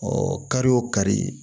kari o kari